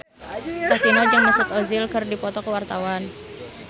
Kasino jeung Mesut Ozil keur dipoto ku wartawan